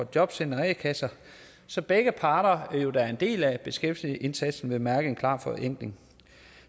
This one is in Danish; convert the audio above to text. jobcentre og a kasser så begge parter der jo er en del af beskæftigelsesindsatsen vil mærke en klar forenkling